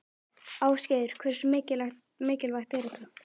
Ásgeir: Hversu mikilvægt er þetta?